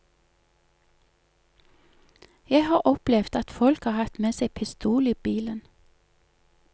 Jeg har opplevd at folk har hatt med seg pistol i bilen.